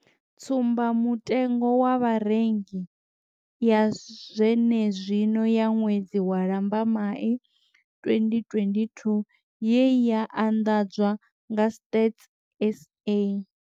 Tsumba mutengo wa Vharengi ya zwene zwino ya ṅwedzi wa Lambamai 2022 ye ya anḓadzwa nga Stats SA.